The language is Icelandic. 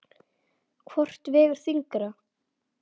Hvort vegur þyngra?